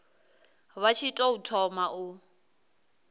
vha tshi tou thoma u